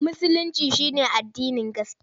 Musulinci shi ne addinin gaskiya.